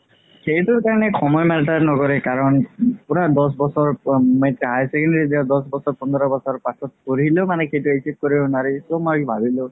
সেইটো কাৰণে সময় matter নকৰে কাৰণ পুৰা দহ বছৰ higher secondary দিয়া দহ বছৰ পোন্ধৰ বছৰ পাছত পঢ়িলেও